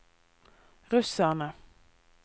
russerne